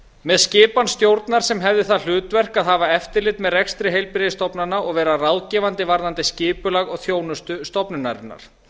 með skipan stjórnar sem hefði það hlutverk að hafa eftirlit með rekstri heilbrigðisstofnana og vera ráðgefandi varðandi skipulag og þjónustu stofnunarinnar